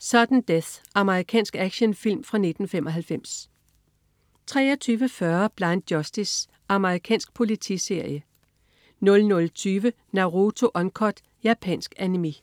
Sudden Death. Amerikansk actionfilm fra 1995 23.40 Blind Justice. Amerikansk politiserie 00.20 Naruto Uncut. Japansk Animé